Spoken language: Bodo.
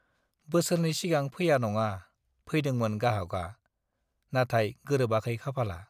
बोसोरनै सिगां फैया नङा, फैदोंमोन गाहाकआ, नाथाय गोरोबाखै खाफाला।